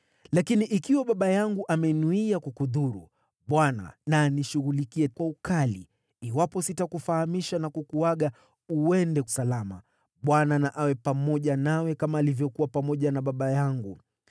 Lakini ikiwa baba yangu amenuia kukudhuru, Bwana na anishughulikie kwa ukali, iwapo sitakufahamisha na kukuaga uende salama. Bwana na awe pamoja nawe kama alivyokuwa pamoja na baba yangu.